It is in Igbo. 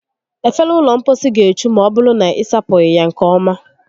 Efere ụlọ mposi ga-echu ma ọbụrụ na ị sapụghị ya nke ọma